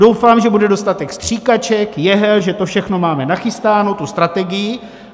Doufám, že bude dostatek stříkaček, jehel, že to všechno máme nachystáno, tu strategii.